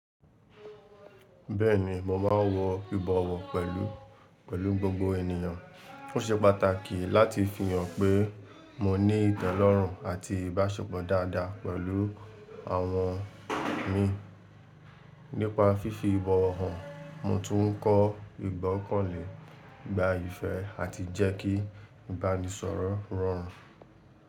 Bẹ́ẹ̀ni, mo máa ń wọ ibọwọ́ pẹ̀lú, pẹ̀lú gbogbo ènìyàn. Ó ṣe pàtàkì láti fi hàn pé mo ní ìtẹ́lọ́rùn àti ìbáṣepọ̀ dáadáa pẹ̀lú àwọn mi. Nípa fífi ìbọwọ́ hàn, mo tún ń kọ́ ìgbọ́kànlé, ìgbáyé àti jẹ́ kí ìbánisọ̀rọ̀ rọrùn.